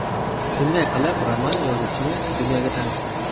Shunday qilib roman yozuvchini dunyoga tanitdi.